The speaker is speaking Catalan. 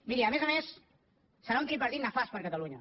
miri a més a més serà un tripartit nefast per a cata lunya